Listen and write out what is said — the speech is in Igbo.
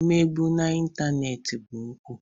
Ị megbu na ịntanetị bụ mpụ